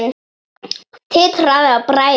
Titraði af bræði.